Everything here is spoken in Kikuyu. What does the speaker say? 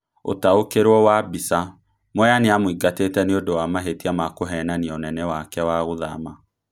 Ũtaũkerwo wa mbica: Mwea nĩemũingatĩte nĩundo wa mahetia ma kuhenania unene wake wa gũthama